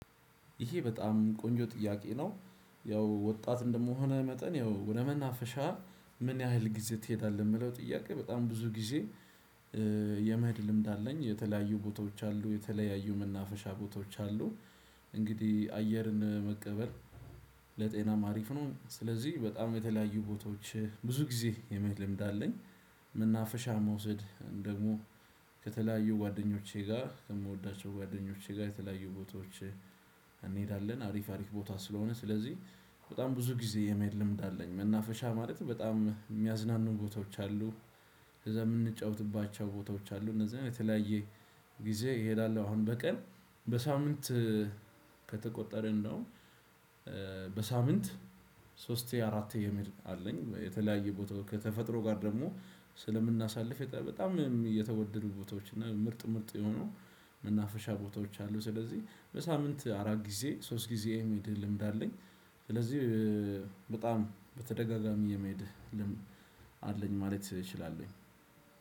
ይሄ በጣም ቆንጆ ጥያቄ ነው ያው ወጣት እንደመሆነህ መጠን ያው ወደ መናፈሻ ምን ያህል ጊዜ ትሄዳለህ የምለው ጥያቄ በጣም ብዙ ጊዜ? የመህድ ልምድ አለኝ የተለያዩ ቦታዎች አሉ የተለያዩ መናፈሻ ቦታዎች አሉ። እንግዲህ አየርን መቀበል ለጤናም አሪፍ ነው ስለዚህ በጣም የተለያዩ ቦታዎች ብዙ ጊዜ የመህድ ልምድ አለኝ። መናፈሻ መውሳድ ደግሞ ከተለያዩ ጓደኞቼ ጋር ከምወዳቸው ጓደኞቼ ጋር የተለያዩ ቦታዎች። እንሄዳለን አሪፍ አሪፍ ቦታ ስለሆነ ስለዚህ በጣም ብዙ ጊዜ የመሄድ ልምድ አለኝ። መናፈሻ ማለት በጣም የሚያዝናኑ ቦታዎች አሉ። ከዛ የምንጫወትባቸው ቦታዎች አሉ እነዚህን የተለያየ ጊዜ እሄዳለሁ አሁን በቀን በሳምንት ከተቆጠረን ነው። በሳምንት ሶስቴ አራቴ የሚል አለኝ የተለያየ ቦታዎች ከተፈጥሮ ጋር ደግሞ ስለምናሳልፍ በጣም የተወደዱ ቦታዎች እና ምርጥ ምርጥ የሆኑ መናፈሻ ቦታዎች አሉ ስለዚህ በሳምንት አራት ጊዜ ሶስት ጊዜ የመሄድ ልምድ አለኝ። ስለዚህ በጣም በተደጋጋሚ የመሄድ ልምድ አለኝ ማለት እችላለሁ።